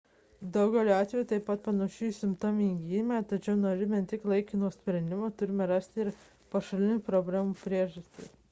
daugeliu atvejų tai panašu į simptominį gydymą tačiau norėdami ne tik laikino sprendimo turime rasti ir pašalinti problemų priežastis